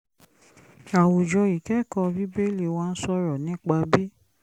àwùjọ ìkẹ́kọ̀ọ́ bíbélì wa ń sọ̀rọ̀ nípa bí